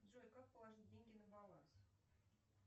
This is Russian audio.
джой как положить деньги на баланс